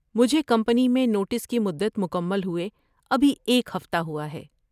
مجھے کمپنی میں نوٹس کی مدت مکمل ہوئے ابھی ایک ہفتہ ہوا ہے۔